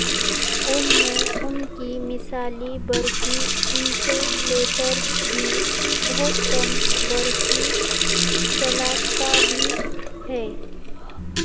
ان میں ان کی مثالی برقی انسولٹرز بھی بہت کم برقی چالکتا بھی ہیں